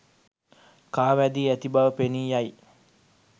කා වැදී ඇති බව පෙනී යයි.